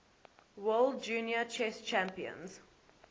world junior chess champions